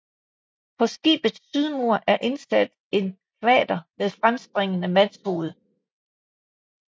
På skibets sydmur er indsat en kvader med fremspringende mandshoved